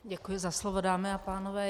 Děkuji za slovo, dámy a pánové.